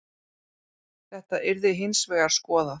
Þetta yrði hins vegar skoðað